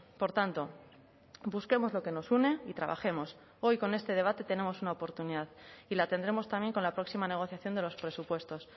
por tanto busquemos lo que nos une y trabajemos hoy con este debate tenemos una oportunidad y la tendremos también con la próxima negociación de los presupuestos